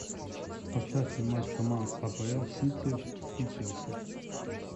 поставь мне матч команд апл сити и челси